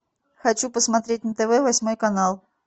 хочу посмотреть на тв восьмой канал